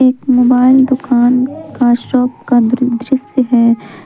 एक मोबाइल दुकान का शॉप का दृश्य है।